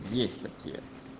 есть такие